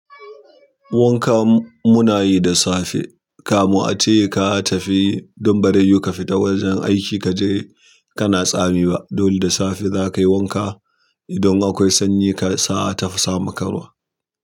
Wanka muna yi da safe. Kamu a ce ka tafi don ba dai you ka fita wajen aiki kaje kana tsami ba. Dolle da safe zakayi wanka idan akwai sanyi ka sa'a tafasa ma ƙaruwa.